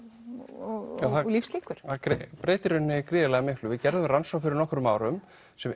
og lífslíkur það breytir í raun gríðarlega miklu við gerðum rannsókn fyrir nokkrum árum